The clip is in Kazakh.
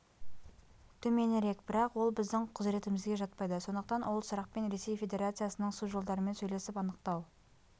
төменірек бірақ ол біздің құзыретімізге жатпайды сондықтан ол сұрақпен ресей федерациясының су жолдарымен сөйлесіп анықтау